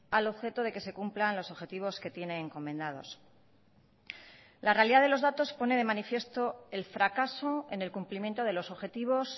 al objeto de que se cumplan los objetivos que tiene encomendados la realidad de los datos pone de manifiesto el fracaso en el cumplimiento de los objetivos